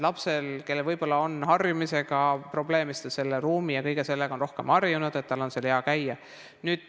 Lapsel, kellel võib-olla on harjumisega probleeme, on siis, kui ta on selle ruumi ja kõigega rohkem harjunud, seal hea käia.